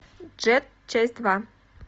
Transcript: джетт часть два